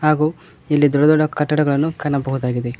ಹಾಗು ಇಲ್ಲಿ ದೊಡ್ಡ ದೊಡ್ಡ ಕಟ್ಟಡಗಳನ್ನು ಕಾಣಬಹುದಾಗಿದೆ.